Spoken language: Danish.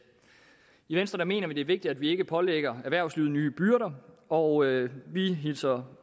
i venstre mener vi at det er vigtigt at vi ikke pålægger erhvervslivet nye byrder og vi hilser